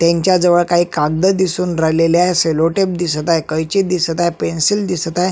त्यांच्या जवळ काही कागद दिसून राहिलेले आहे सेलो टेप दिसत आहे कैची दिसत आहे पेन्सील दिसत आहे.